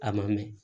A ma mɛn